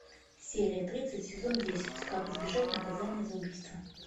серия тридцать сезон десять как избежать наказания за убийство